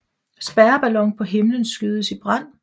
Spærreballon på himlen skydes i brand